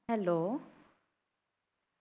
Hello